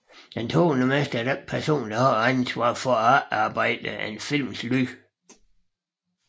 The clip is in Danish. En tonemester er den person der har ansvaret for at efterarbejde en films lyd